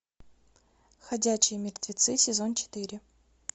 ходячие мертвецы сезон четыре